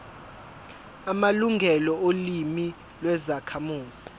amalungelo olimi lwezakhamuzi